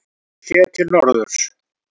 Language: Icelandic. Sauðlauksdalur séð til norðurs.